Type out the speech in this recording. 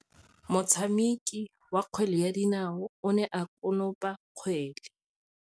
Motshameki wa kgwele ya dinaô o ne a konopa kgwele.